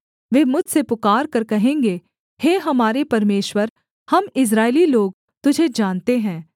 वे मुझसे पुकारकर कहेंगे हे हमारे परमेश्वर हम इस्राएली लोग तुझे जानते हैं